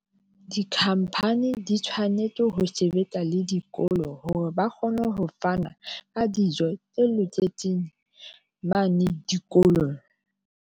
Di-company di tshwanetse ho sebetsa le dikolo hore ba kgone ho fana ka dijo tse loketseng mane dikolong.